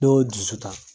Ne y'o dusu ta